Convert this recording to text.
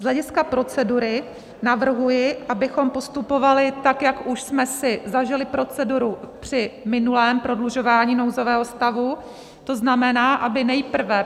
Z hlediska procedury navrhuji, abychom postupovali tak, jak už jsme si zažili proceduru při minulém prodlužování nouzového stavu, to znamená, aby nejprve